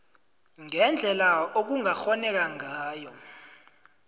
ngendlela okungakghoneka ngayo